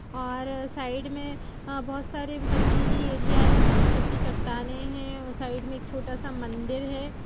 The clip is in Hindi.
और साइड में अ बोहोत सारी पथरीली एरिया हैं पत्थर की चट्टानें हैं अ साइड में छोटा सा एक मंदिर है।